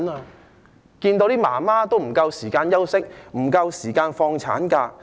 是否想看到母親不夠時間休息、不能夠延長產假？